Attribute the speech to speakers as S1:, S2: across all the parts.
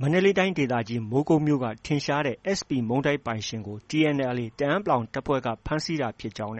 S1: မန္တလေးတိုင်းဒေသကြီး မိုးကုတ်မြို့က ထင်ရှားတဲ့ SP မုန့်တိုက်ပိုင်ရှင်ကို TNLA တအာင်း အဖွဲ့က ဖမ်းဆီးခဲ့တာဖြစ်ပြီး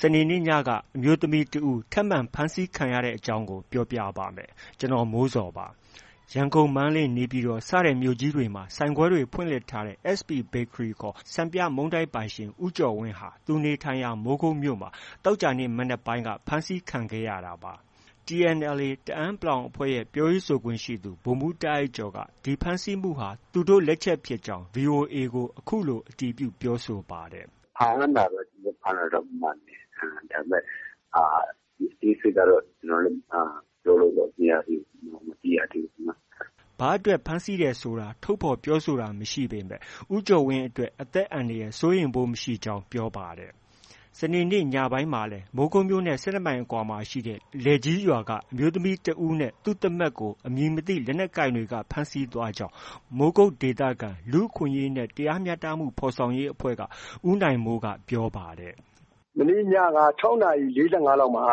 S1: စနေနေ့ညကလည်း အမျိုးသမီးတဦး နောက်ထပ် ထပ်မံဖမ်းဆီးခံခဲ့ရပါတယ်။ အပြည့်အစုံကို ကိုမိုးဇော် ဆက်သွယ်မေးမြန်းပြီး တင်ပြပေးထားပါတယ်။ ရန်ကုန်၊ မန္တလေး၊ နေပြည်တော် စတဲ့မြို့ကြီးတွေမှာပါ ဆိုင်ခွဲတွေ ဖွင့်လှစ်ထားတဲ့ SP Bakery စံပြမုန့်တိုက်ပိုင်ရှင် ဦးကျော်ဝင်းဟာ သူနေထိုင်ရာ မိုးကုတ်မြို့မှာ သောကြာနေ့ မနက်ပိုင်းက ဖမ်းဆီးခံခဲ့ရတာပါ။ TNLA တအာင်း အဖွဲ့ရဲ့ ပြောရေးဆိုခွင့်ရှိသူ ဗိုလ်မှူးတာ့အိုက်ကျော်က ဒီဖမ်းဆီးမှုဟာ သူတို့လက်ချက်ဖြစ်ကြောင်း ဗွီအိုအေကို အခုလို အတည်ပြုပြောဆိုပါတယ်။ “ဖမ်းတာတော့ ကျနော်တို့ ဖမ်းတာတော့ မှန်တယ်။ ဒါပေမယ့် အသေးစိတ်ကတော့ ကျနော်လည်း ပြောလို့မရသေးဘူး။ မသိရသေးဘူး။” ဘာအတွက်ဖမ်းဆီးထားတယ်ဆိုတာ ထုတ်ဖော်ပြောဆိုတာ မရှိပေမယ့် ဦးကျော်ဝင်းအတွက် အသက်အန္တရာယ် စိုးရိမ်ဖို့ မရှိကြောင်း ပြောပါတယ်။ စနေနေ့ညပိုင်းမှာလည်း မိုးကုတ်မြို့နဲ့ ၁၂ မိုင်အကွာမှာရှိတဲ့ လယ်ကြီးရွာက အမျိုးသမီးတယောက်နဲ့ သူ့သမက်ကို အမည်မသိ လက်နက်ကိုင်တွေက ဖမ်းဆီးသွားကြောင်း မိုးကုတ်ဒေသခံ လူ့အခွင့်အရေးနဲ့ တရားမျှတမှု ဖော်ဆောင်ရေးအဖွဲ့က ဦးနိုင်မိုးက ပြောပါတယ်။
S2: “မနေ့ညက ၆ နာရီ ၄၅ လောက်မှာ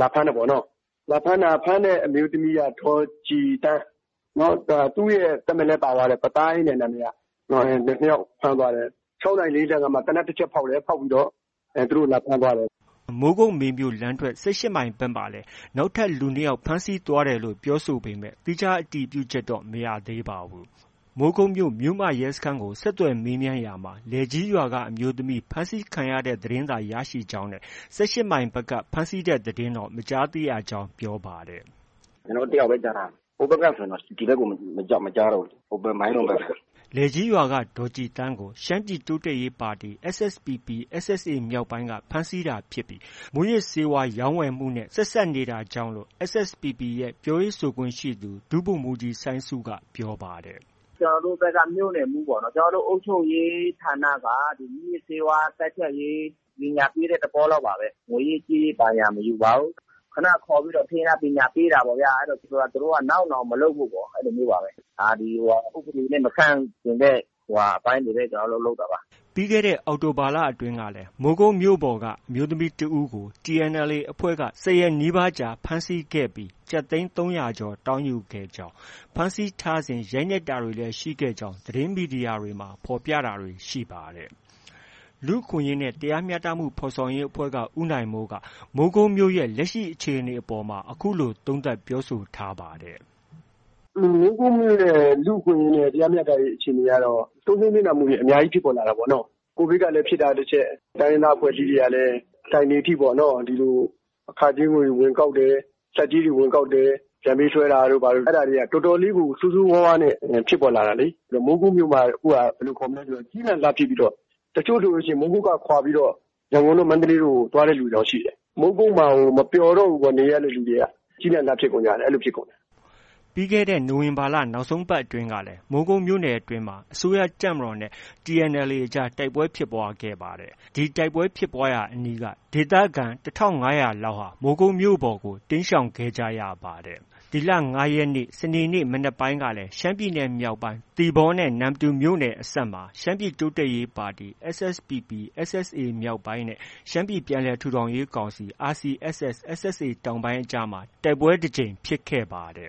S2: လာဖမ်းတယ်ပေါ့နော။ ဖမ်းတဲ့အမျိုးသမီးက ဒေါ်ကြည်သန်း။ နောက် သူ့ရဲ့သမက်လည်း ပါသွားတယ်၊ ပသိုင်းတဲ့ နာမည်က။ ၂ ယောက်ဖမ်းသွားတယ်။ ၆ နာရီ ၄၅ မှာ သေနတ်တချက်ဖောက်တယ်၊ ဖောက်ပြီးတော့ လာဖမ်းသွားတယ်
S1: ။” မိုးကုတ်-မေမြို့လမ်းထွက် ၁၈ မိုင်ဘက်မှာလည်း နောက်ထပ် လူ ၂ ယောက် ဖမ်းဆီးသွားတယ်လို့ ပြောဆိုပေမယ့် သီးခြားအတည်ပြုချက် မရသေးပါဘူး။ မိုးကုတ်မြို့ မြို့မရဲစခန်းကို ဆက်သွယ်မေးမြန်းရာမှာ လယ်ကြီးရွာက အမျိုးသမီး ဖမ်းဆီးခံရတဲ့သတင်းသာ ရရှိကြောင်းနဲ့ ၁၈ မိုင်ဘက်က ဖမ်းဆီးတဲ့သတင်းတော့ မကြားသိရကြောင်း ပြောပါတယ်။ “ကျနော်တို့ တယောက်ပဲ ကြားထားတယ်။ ဟိုဘက်ကဆိုရင်တော့ ဒီဘက်ကို မကြားတော့ဘူး။ ဟိုဘက် မိုင်းလုံဘက်ဆို။” လယ်ကြီးရွာက ဒေါ်ကြည်သန်းကို ရှမ်းပြည်တိုးတက်ရေးပါတီ SSPP/SSA မြောက်ပိုင်းက ဖမ်းဆီးတာဖြစ်ပြီး မူးယစ်ဆေးဝါး ရောင်းဝယ်မှုနဲ့ ဆက်စပ်နေကြောင်း SSPP ရဲ့ ပြောရေးဆိုခွင့်ရှိသူ ဒုဗိုလ်မှူးကြီး စိုင်းဆုက ပြောပါတယ်။ “ကျနော်တို့ဘက်က မြို့နယ်မှူးပေါ့နော်၊ ကျနော်တို့ အုပ်ချုပ်ရေးဌာနက မူးယစ်ဆေးဝါးတိုက်ဖျက်ရေး ပညာပေးတဲ့ သဘောလောက်ပါပဲ။ ငွေရေးကြေးရေး ဘာညာ မယူပါဘူး။ ခနခေါ်ပြီးတော့ ထိန်းထား ပညာပေးတာပေါ့ဗျာ။ သူူတို့က နောက်နောင်မလုပ်ဖို့ပေါ့။ အဲလိုမျိုးပါပဲ။ ဥပဒေနဲ့ မဆန့်ကျင်တဲ့ အပိုင်းတွေပဲ ကျနော်တို့လုပ်တာပါ။” ပြီးခဲ့တဲ့ အောက်တိုဘာလအတွင်းကလည်း မိုးကုတ်မြို့ပေါ်က အမျိုးသမီးတဦးကို TNLA အဖွဲ့က ၁၀ ရက်နီးပါးကြာ ဖမ်းဆီးခဲ့ပြီး ကျပ်သိန်း ၃၀၀ ကျော် တောင်းယူခဲ့ကြောင်း၊ ဖမ်းဆီးထားစဉ် ရိုက်နှက်တာတွေလည်းရှိကြောင်း သတင်းမီဒီယာတွေမှာ ဖော်ပြတာတွေ ရှိပါတယ်။ လူ့အခွင့်အရေးနဲ့ တရားမျှတမှု ဖော်ဆောင်ရေးအဖွဲ့က ဦးနိုင်မိုးက မိုးကုတ်မြို့ရဲ့ လက်ရှိအခြေအနေအပေါ်မှာ အခုလို သုံးသပ်ပြောဆိုထားပါတယ်။
S2: “မိုးကုတ်မြို့ရဲ့ လူ့အခွင့်အရေးနဲ့ တရားမျှတရေး အခြေအနေကတော့ ဆုံးရှုံးနစ်နာမှုတွေ အများကြီး ဖြစ်ပေါ်လာတာပေါ့နော။ ကိုဗစ်ကလည်း ဖြစ်တာတချက်။ တိုင်းရင်းသားအဖွဲ့အစည်းတွေကလည်း ဆိုင်တွေအထိပေါ့နော ဒီလို အခကြေးငွေတွေ ဝင်ကောက်တယ်၊ ဆက်ကြေးတွေ ဝင်ကောက်တယ်။ ပြန်ပေးဆွဲတာတို့ ဘာတို့ တော်တော်လေးကို ဆိုးဆိုးဝါးဝါးနဲ့ ဖြစ်ပေါ်လာတာလေ။ မိုးကုတ်မြို့မှာ အခုဟာက ကျီးလန့်စာစား ဖြစ်ပြီးတော့ တချို့ဆို မိုးကုတ်ကခွာပြီးတော့ ရန်ကုန်တို့ မန္တလေးတို့ သွားတဲ့လူတွေတောင် ရှိတယ်။ မိုးကုတ်မှာကို နေရတာ မပျော်တော့ဘူးပေါ့။ ကျီးလန့်စာစား ဖြစ်ကုန်ကြတာ။”
S1: ပြီးခဲ့တဲ့နိုဝင်ဘာလ နောက်ဆုံးပတ်အတွင်းကလည်း မိုးကုတ်မြို့နယ်အတွင်းမှာ အစိုးရတပ်မတော်နဲ့ TNLA အကြား တိုက်ပွဲဖြစ်ပွားခဲ့ပါတယ်။ ဒီတိုက်ပွဲဖြစ်ပွားရာအနီးက ဒေသခံ ၁,၅၀၀ လောက်ဟာ မိုးကုတ်မြို့ဘက်ကို တိမ်းရှောင်ခဲ့ကြရပါတယ်။ စနေနေ့မနက်ပိုင်းကလည်း ရှမ်းပြည်နယ်မြောက်ပိုင်း သီပေါနဲ့ နမ္မတူမြို့နယ်အစပ် ဒေသမှာ ရှမ်းပြည်တိုးတက်ရေးပါတီ SSPP/SSA မြောက်ပိုင်းနဲ့ ရှမ်းပြည်ပြန်လည်ထူထောင်ရေးကောင်စီ RCSS/SSA တောင်ပိုင်းအကြားမှာ တိုက်ပွဲတကြိမ် ဖြစ်ခဲ့ပါတ